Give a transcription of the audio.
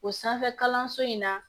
O sanfɛ kalanso in na